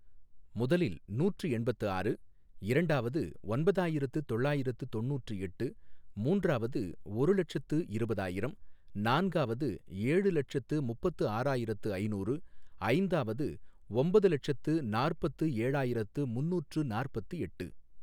முதலில் நூற்று எண்பத்து ஆறு, இரண்டாவது ஒன்பதாயிரத்து தொள்ளாயிரத்து தொண்ணூற்று எட்டு, மூன்றாவது ஒரு லட்சத்து இருபதாயிரம், நான்காவது ஏழு லட்சத்து முப்பத்து ஆறாயிரத்து ஐநூறு, ஐந்தாவது ஒம்பது லட்சத்து நாற்பத்து ஏழாயிரத்து முநூற்று நாற்பத்து எட்டு